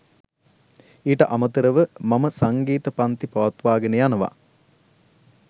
ඊට අමතරව මම සංගීත පංති පවත්වාගෙන යනවා.